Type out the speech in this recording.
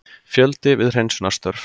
Fjöldi við hreinsunarstörf